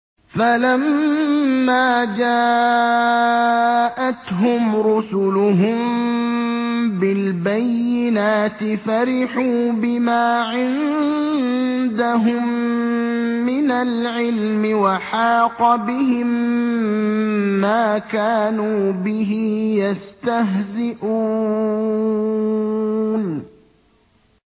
فَلَمَّا جَاءَتْهُمْ رُسُلُهُم بِالْبَيِّنَاتِ فَرِحُوا بِمَا عِندَهُم مِّنَ الْعِلْمِ وَحَاقَ بِهِم مَّا كَانُوا بِهِ يَسْتَهْزِئُونَ